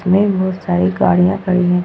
में बहुत सारी गाड़ी खड़ी हैं।